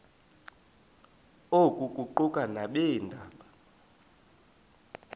oku kuquka nabeendaba